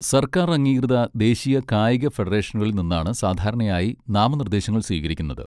സർക്കാർ അംഗീകൃത ദേശീയ കായിക ഫെഡറേഷനുകളിൽ നിന്നാണ് സാധാരണയായി നാമനിർദ്ദേശങ്ങൾ സ്വീകരിക്കുന്നത്.